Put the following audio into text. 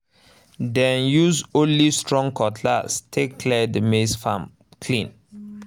dem use only strong cutlass take clear the maize farm clean